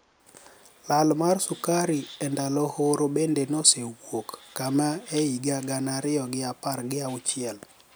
Lal mar sukari e nidalo horo benide nosewuok kame e higa gana ariyo gi apar gi auchiel